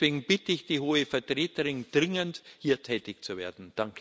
Deswegen bitte ich die Hohe Vertreterin dringend, hier tätig zu werden.